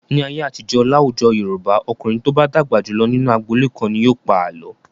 Ní ayé àtijọ́, láwùjọ Yorùbá, ọkùnrin tó bá dàgbà jù lọ nínú agboolé kan ni yóò pa àlọ́.